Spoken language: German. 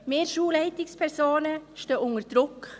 Wir Schulleitungspersonen stehen unter Druck.